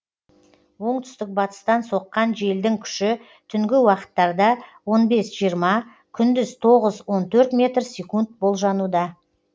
оңтүстік батыстан соққан желдің күші түнгі уақыттарда он бес жиырма күндіз тоғыз он төрт метр секунд болжануда